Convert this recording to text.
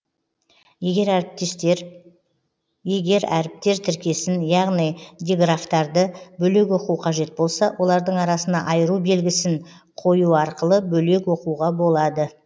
егер әріптер тіркесін яғни диграфтарды бөлек оқу қажет болса олардың арасына айыру белгісін қойу арқылы бөлек оқуға болады